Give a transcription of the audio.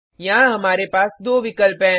यहाँ हमारे पास दो विकल्प हैं